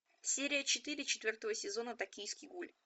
серия четыре четвертого сезона токийский гуль